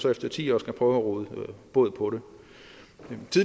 efter ti år skal prøve at råde bod på